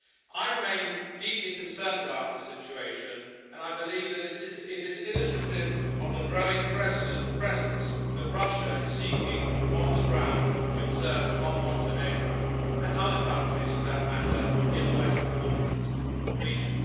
I remain deeply concerned about the situation and I believe that it is illustrative of the growing presence that Russia is seeking on the ground to exert on Montenegro, and other countries for that matter in the Western Balkans region.